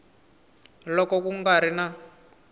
loko ku nga ri na